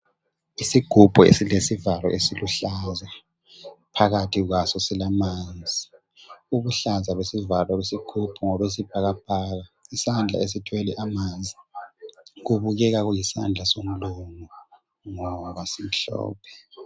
Isigubhu esilesivalo esiluhlaza, phakathi kwaso silamanzi. Ubuhlaza besivalo besigubhu ngobesibhakabhaka. Isandla esithwele amanzi, kubukeka kuyisandla somlungu ngoba simhlophe.